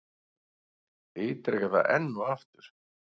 Ítreka það enn og aftur.